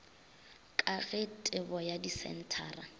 ka ge tebo ya disenthara